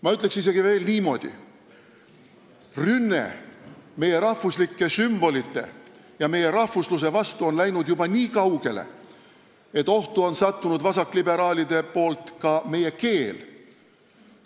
Ma ütleks isegi niimoodi: rünne meie rahvuslike sümbolite ja meie rahvusluse vastu on läinud juba nii kaugele, et vasakliberaalide tõttu on ka meie keel ohtu sattunud.